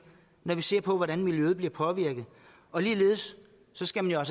når vi ser på hvordan miljøet bliver påvirket og ligeledes skal man jo